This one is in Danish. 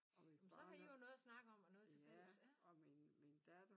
Men så har I jo noget at snakke om og noget til fælles ja